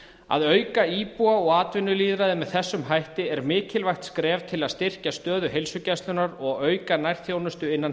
að auka íbúa og atvinnulýðræði með þessum hætti er mikilvægt skref til að styrkja stöðu heilsugæslunnar og auka nærþjónustu innan